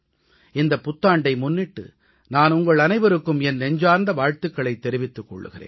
இந்தப் புத்தாண்டை முன்னிட்டு நான் உங்கள் அனைவருக்கும் என் நெஞ்சார்ந்த வாழ்த்துக்களைத் தெரிவித்துக் கொள்கிறேன்